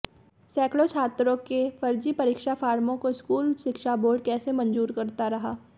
सैकड़ों छात्रों के फर्जी परीक्षा फार्मों को स्कूल शिक्षा बोर्ड कैसे मंजूर करता रहा